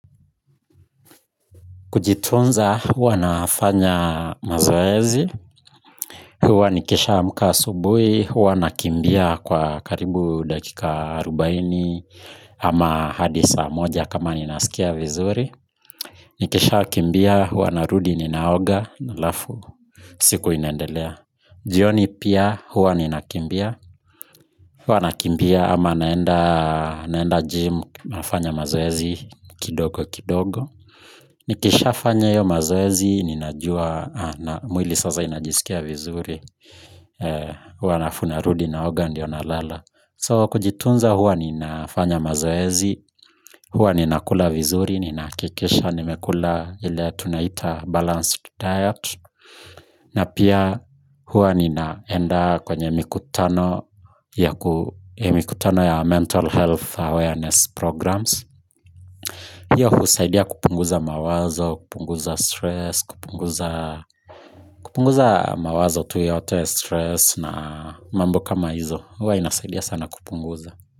Kujitunza huwa nafanya mazoezi, huwa nikisha amka asubui, huwa nakimbia kwa karibu dakika arubaini ama hadi saa moja kama ninasikia vizuri. Nikisha kimbia huwa narudi ninaoga halafu, siku inaendelea. Jioni pia huwa ninakimbia, huwa nakimbia ama naenda gym, nafanya mazoezi kidogo kidogo. Nikisha fanya hiyo mazoezi, ninajua na mwili sasa inajisikia vizuri huwa halafu narudi n oga ndiyo nalala. So kujitunza huwa ninafanya mazoezi huwa nina kula vizuri, ninahakikisha nimekula ile tunaita balanced diet na pia huwa ninaenda kwenye mikutano ya mental health awareness programs hiyo husaidia kupunguza mawazo, kupunguza stress, kupunguza mawazo tu yeyote ya stress na mambo kama hizo huwa inasaidia sana kupunguza.